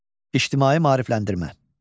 İctimai maarifləndirmə.